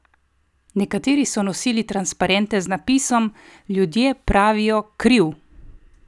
Nekateri so nosili transparente z napisom: "Ljudje pravijo kriv".